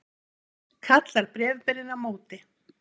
kallar bréfberinn á móti.